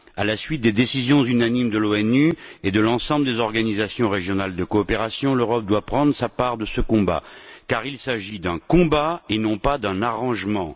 À la suite des décisions unanimes de l'ONU et de l'ensemble des organisations régionales de coopération, l'Europe doit prendre sa part de ce combat car il s'agit d'un combat et non d'un arrangement.